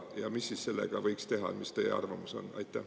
Ja mis siis sellega võiks teha, mis teie arvamus on?